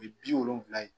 U ye bi wolonwula ye